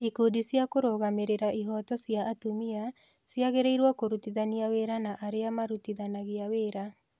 Ikundi cia kũrũgamĩrĩra ihooto cia atumia ciagĩrĩirũo kũrutithania wĩra na arĩa arĩa marutithanagia wĩra.